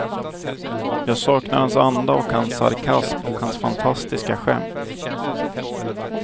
Jag saknar hans anda och hans sarkasm och hans fantastiska skämt.